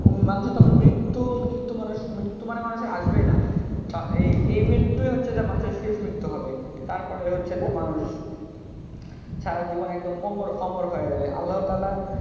মানুষের তখন মৃত্যু মৃত্যু মানুষ মৃত্যু মানে মানুষের আসবেই না এই মৃত্যুই হচ্ছে যে মানুষের শেষ মৃত্যু হবে তারপরে হচ্ছে যে মানুষ সারজিবন একদম অমর অমর হয়ে রবে আল্লাহ্‌ তালহার,